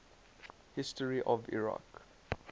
history of iraq